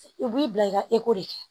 I b'i bila i ka de kɛ